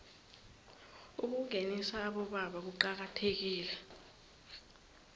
ukungenisa abobaba kuqakathekile